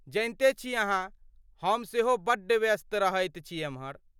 जनिते छी अहाँ, हम सेहो बड्ड व्यस्त रहैत छी एम्हर।